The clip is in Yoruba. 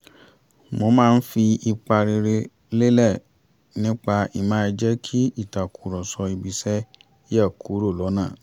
mó máa ń fi ipa rere lélẹ̀ nípa ì má jẹ́ kí ìtàkùrọ̀sọ ibi-iṣẹ́ yẹ̀ kúrò lọ́nà